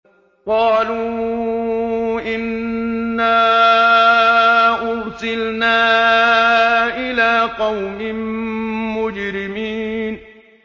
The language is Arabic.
قَالُوا إِنَّا أُرْسِلْنَا إِلَىٰ قَوْمٍ مُّجْرِمِينَ